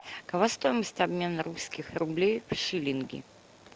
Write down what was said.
какова стоимость обмена русских рублей в шиллинги